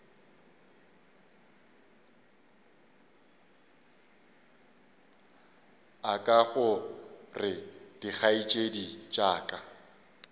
aka gore dikgaetšedi tša ka